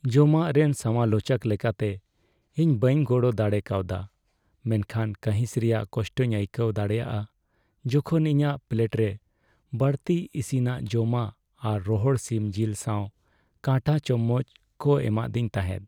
ᱡᱚᱢᱟᱜ ᱨᱮᱱ ᱥᱚᱢᱟᱞᱳᱪᱚᱠ ᱞᱮᱠᱟᱛᱮ, ᱤᱧ ᱵᱟᱹᱧ ᱜᱚᱲᱚᱨᱮ ᱫᱟᱲᱮ ᱠᱟᱣᱫᱟ ᱢᱮᱱᱠᱷᱟᱱ ᱠᱟᱺᱦᱤᱥ ᱨᱮᱭᱟᱜ ᱠᱚᱥᱴᱚᱧ ᱟᱹᱭᱠᱟᱹᱣ ᱫᱟᱲᱮᱭᱟᱜᱼᱟ ᱡᱚᱠᱷᱚᱱ ᱤᱧᱟᱹᱜ ᱯᱞᱮᱴᱨᱮ ᱵᱟᱹᱲᱛᱤ ᱤᱥᱤᱱᱟᱜ ᱡᱚᱢᱟᱜ ᱟᱨ ᱨᱚᱦᱚᱲ ᱥᱤᱢ ᱡᱤᱞ ᱥᱟᱶ ᱠᱟᱴᱟ ᱪᱟᱢᱚᱪ ᱠᱚ ᱮᱢᱟᱫᱣᱮᱧ ᱛᱟᱦᱮᱸᱫ ᱾